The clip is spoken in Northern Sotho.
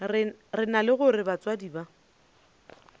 rena re lego batswadi ba